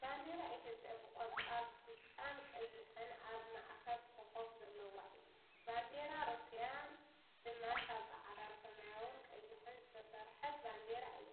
ባንዴራ ኢትዮጵያ ብቆፃል ብጫን ቀይን ኣብ ማእከል ኮኮብ ዘለዋ እያ ፡፡ ባንዴራ ሩስያን ድማ ካብ ፃዕዳ ፣ ሰማያዊን ቀይሕን ዝተሰርሐት ባንዴራ እያ፡፡